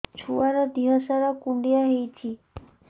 ଛୁଆର୍ ଦିହ ସାରା କୁଣ୍ଡିଆ ହେଇଚି